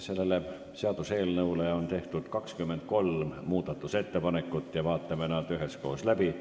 Selle seaduseelnõu kohta on tehtud 23 muudatusettepanekut, vaatame nad üheskoos läbi.